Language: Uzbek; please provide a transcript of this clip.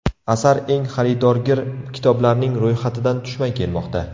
Asar eng xaridorgir kitoblarning ro‘yxatidan tushmay kelmoqda.